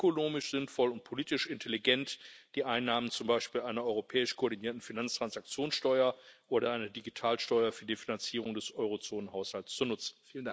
Es wäre ökonomisch sinnvoll und politisch intelligent, die Einnahmen zum Beispiel einer europäisch koordinierten Finanztransaktionssteuer oder einer Digitalsteuer für die Finanzierung des Eurozonenhaushalts zu nutzen.